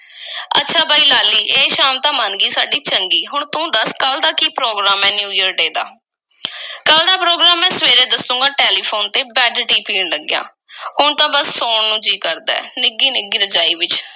ਅੱਛਾ ਬਈ, ਲਾਲੀ, ਇਹ ਸ਼ਾਮ ਤਾਂ ਮੰਨ ਗਈ ਸਾਡੀ ਚੰਗੀ, ਹੁਣ ਤੂੰ ਦੱਸ ਕੱਲ੍ਹ ਦਾ ਕੀ program ਏ, new year day ਦਾ? ਕੱਲ੍ਹ ਦਾ program ਮੈਂ ਸਵੇਰੇ ਦੱਸੂਗਾ, ਟੈਲੀਫੂਨ ਉੱਤੇ, bed-tea ਪੀਣ ਲੱਗਿਆਂ। ਹੁਣ ਤਾਂ ਬੱਸ ਸੌਣ ਨੂੰ ਜੀਅ ਕਰਦਾ ਏ, ਨਿੱਘੀ-ਨਿੱਘੀ ਰਜਾਈ ਵਿੱਚ,